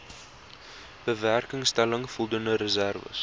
bewerkstellig voldoende reserwes